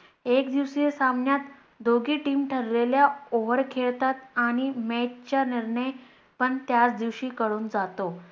एक दिवसीय सामन्यात दोघे Team ठरलेल्या over खेळतात आणि Match चा निर्णय पण त्याच दिवशी कळून जातो.